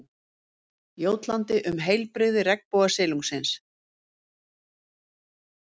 Jótlandi um heilbrigði regnbogasilungsins.